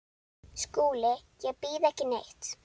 SKÚLI: Ég býð ekki neitt.